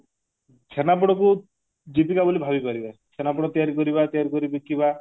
ଛେନାପୋଡକୁ ଜୀବିକା ବୋଲି ଭାବିପରିବା ଛେନାପୋଡକୁ ତିଆରି କରିବା ତିଆରି କରି ବିକିବା